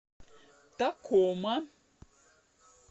такома